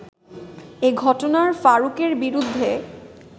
এ ঘটনায় ফারুকের বিরুদ্ধে